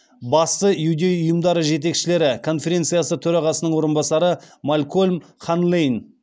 басты иудей ұйымдары жетекшілері конференциясы төрағасының орынбасары малькольм ханлейнн